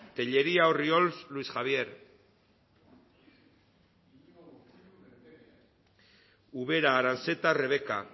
tellería orriols luis javier ubera aranzeta rebeka